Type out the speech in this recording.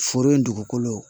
Foro in dugukolo